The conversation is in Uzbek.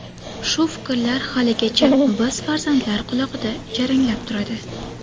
Shu fikrlar haligacha biz farzandlar qulog‘ida jaranglab turadi.